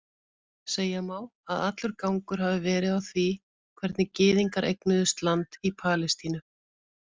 Segja má að allur gangur hafi verið á því hvernig gyðingar eignuðust land í Palestínu.